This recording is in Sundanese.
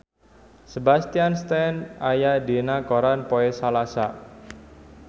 Sebastian Stan aya dina koran poe Salasa